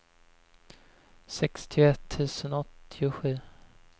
sextioett tusen åttiosju